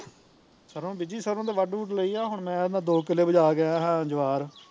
ਸਰੋਂ ਬੀਜੀ ਸਰੋਂ ਤੇ ਵੱਢ ਵੁੱਡ ਲਈ ਆ ਹੁਣ ਮੈਂ ਕਹਿੰਦਾ ਦੋ ਕਿੱਲੇ ਬੀਜਾਂ ਕੇ ਆਇਆ ਸਾ ਜਵਾਹਰ